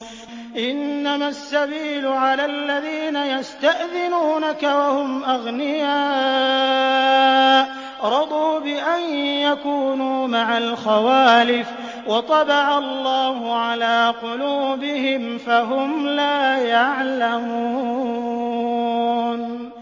۞ إِنَّمَا السَّبِيلُ عَلَى الَّذِينَ يَسْتَأْذِنُونَكَ وَهُمْ أَغْنِيَاءُ ۚ رَضُوا بِأَن يَكُونُوا مَعَ الْخَوَالِفِ وَطَبَعَ اللَّهُ عَلَىٰ قُلُوبِهِمْ فَهُمْ لَا يَعْلَمُونَ